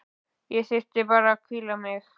Ég þyrfti bara að hvíla mig.